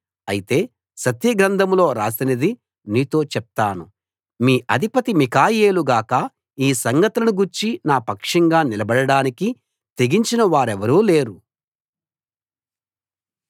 అయితే సత్యగ్రంథంలో రాసినది నీతో చెప్తాను మీ అధిపతి మిఖాయేలు గాక ఈ సంగతులను గూర్చి నా పక్షంగా నిలబడడానికి తెగించిన వారెవరూ లేరు